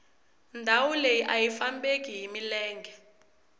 ndhawu leyi ayi fambeki hi milenge